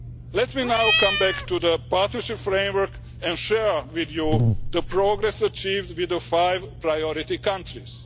Let me now come back to the partnership framework and share with you the progress achieved with the five priority countries.